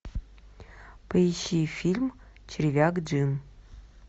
поищи фильм червяк джим